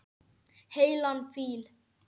Heilan fíl.